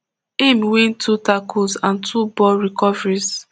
im win two tackles and two ball recoveries